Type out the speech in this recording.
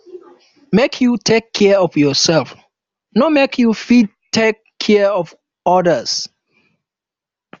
make you take care of yoursef o make you fit take care of odas